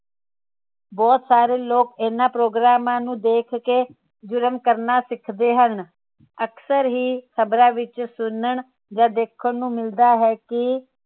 ਬਹੁਤ ਸਾਰੇ ਲੋਕ ਇਨ੍ਹਾਂ ਪ੍ਰੋਗਰਾਮਾਂ ਨੂੰ ਦੇਖ ਕੇ ਜ਼ੁਰਮ ਕਰਨਾ ਸਿੱਖਦੇ ਹਨ ਅਕਸਰ ਹੀ ਖਬਰਾਂ ਵਿਚ ਸੁਨਣ ਜਾ ਦੇਖਣ ਨੂੰ ਮਿਲਦਾ ਹੈ ਕਿ